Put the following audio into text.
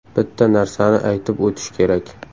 Bitta narsani aytib o‘tish kerak.